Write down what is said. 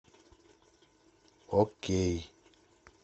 окей